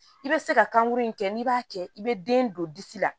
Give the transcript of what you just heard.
I bɛ se ka kankuru in kɛ n'i b'a kɛ i bɛ den don disi la